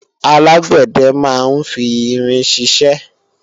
alágbẹ̀dẹ máa ń fi irin ṣiṣẹ́